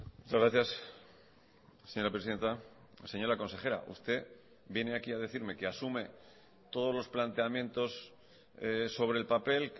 muchas gracias señora presidenta señora consejera usted viene aquí a decirme que asume todos los planteamientos sobre el papel